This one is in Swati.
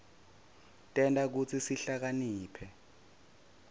tenta kutsi sihlakaniphe